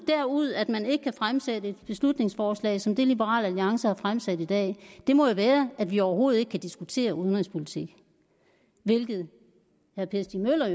derud af at man ikke kan fremsætte et beslutningsforslag som det liberal alliance har fremsat i dag må jo være at vi overhovedet ikke kan diskutere udenrigspolitik hvilket herre per stig møller